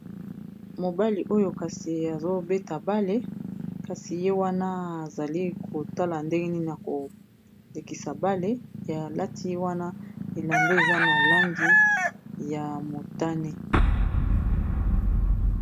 mobali oyo kasi azobeta bale kasi ye wana azali kotala ndenge ni na kolekisa bale alati wana elamba eza na langi ya motane.